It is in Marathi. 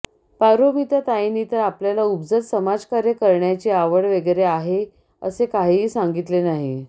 पारोमिता ताईंनी तर आपल्याला उपजत समाजकार्य करण्याची आवड वगैरे आहे असे काहीही सांगीतले नाही